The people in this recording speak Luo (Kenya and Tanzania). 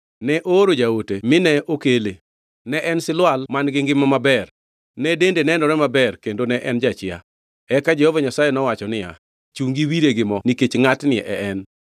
Ne ooro jaote mine okele. Ne en silwal man-gi ngima maber, ne dende nenore maber kendo ne en jachia. Eka Jehova Nyasaye nowacho niya, “Chungi iwire gi mo; nikech ngʼatni e en.”